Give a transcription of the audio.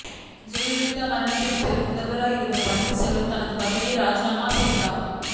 ஜெயலலிதா மரணத்திற்கு பிறகு முதல்வராகப் இருந்த பன்னீர் செல்வம் தனது பதவியை ராஜினாமா செய்தார்